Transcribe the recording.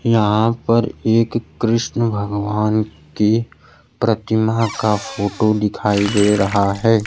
यहां पर एक कृष्ण भगवान की प्रतिमा का फोटो दिखाई दे रहा है।